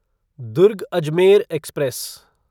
Durg Ajmer express